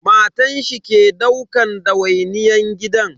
Matan shi ke daukan dawainiyyan gidan.